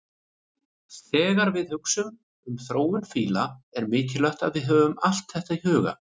Þegar við hugsum um þróun fíla er mikilvægt að við höfum allt þetta í huga.